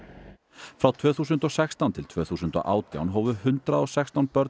frá tvö þúsund og sextán til tvö þúsund og átján hófu hundrað og sextán börn